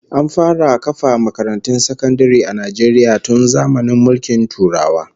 An fara kafa makarantun sakandare a Najeriya tun zamanin Turawan mulki